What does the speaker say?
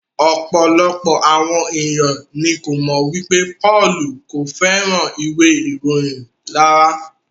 Ọ̀pọ̀lọpọ̀ àwọn ènìyàn ní ko mọ wipe Pọ́lù ko fẹràn ìwé ìròyìn rárá.